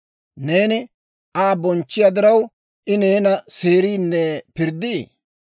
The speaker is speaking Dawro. «Neeni Aa bonchchiyaa diraw, I neena seeriinne pirddii?